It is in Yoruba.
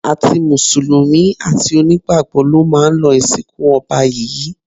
Àti mùsùlùmí, àti onígbàgbọ́ ló máa lọ ìsìnkú ọba yìí